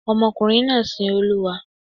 Ọmọkùnrin náà sin Olúwa.